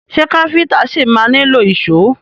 Ṣé káfíntà ṣi ma nílò ìṣó?